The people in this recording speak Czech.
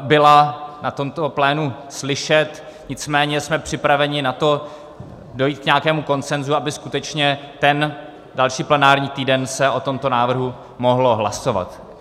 byla na tomto plénu slyšet, nicméně jsme připraveni na to dojít k nějakému konsenzu, aby skutečně ten další plenární týden se o tomto návrhu mohlo hlasovat.